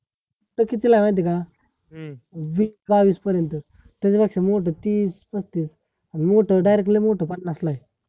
ते कितीला आहे माहिती का? वीस बावीस पर्यंत त्याच्या पेक्षा मोठं तीस पस्तीस आणि मोठं director लय मोठं पन्नासला आहे